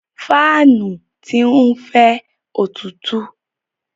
Fáànù ti ń fẹ́ òtútú.